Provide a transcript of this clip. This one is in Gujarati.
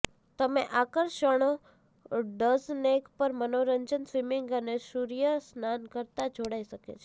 તમે આકર્ષણો ડઝનેક પર મનોરંજન સ્વિમિંગ અને સૂર્યસ્નાન કરતા જોડાઈ શકે છે